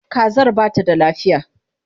Kazar ba ta da lafiya.